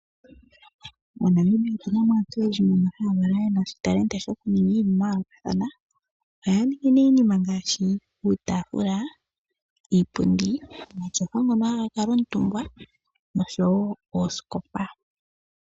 MoNamibia otu na mo aantu oyendji mboka ye na iitalenti yokuninga iinima ya yoolokathana ohaya ningi iinima ngaashi uutafula, iipundi, omatyofa ngono haga kalwa omutumba osho wo oosikopa.